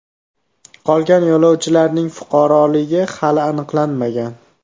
Qolgan yo‘lovchilarning fuqaroligi hali aniqlanmagan.